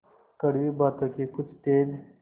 कड़वी बातों के कुछ तेज